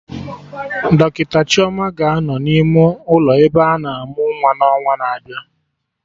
Dọkịta Chioma ga-anọ n'ime ụlọ ebe ana amụ nwa n'ọnwa na-abịa